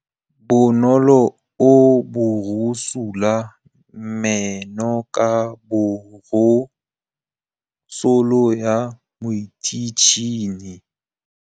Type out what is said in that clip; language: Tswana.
Bonolô o borosola meno ka borosolo ya motšhine.